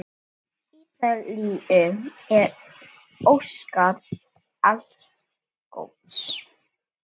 Ítalíu er óskað alls góðs.